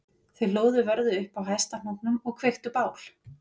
Þau hlóðu vörðu upp á hæsta hnúknum og kveiktu bál